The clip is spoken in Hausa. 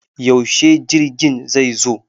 Yaushe jirgin zai zo?